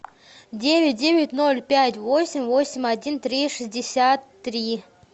девять девять ноль пять восемь восемь один три шестьдесят три